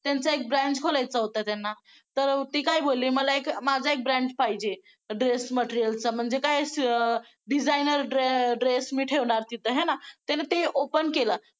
त्यांचा एक branch खोलायचा होता त्यांना तर ती काय बोलली मला एक माझा एक branch पाहिजे dress material च म्हणजे काय designer dress मी ठेवणार तिथं आहे ना त्यानं ते open केलं.